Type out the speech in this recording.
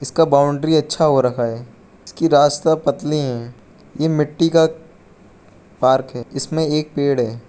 का बाउंड्री अच्छा हो रखा है इसकी रास्ता पतली है यह मिट्टी का पार्क है जिसमें एक पेड़ है।